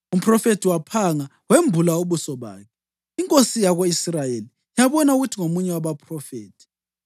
Umphrofethi waphanga wembula ubuso bakhe, inkosi yako-Israyeli yabona ukuthi ngomunye wabaphrofethi.